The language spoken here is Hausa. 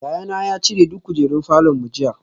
Yayana ya cire duk kujerun falor mu jiya